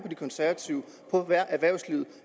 de konservative erhvervslivet